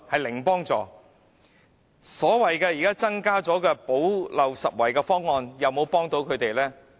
現時所謂新增的"補漏拾遺"方案能否幫助他們呢？